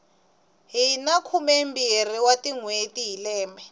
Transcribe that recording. hina khumembirhi wa tinhweti hi lembe